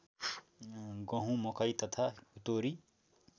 गहुँ मकै तथा तोरी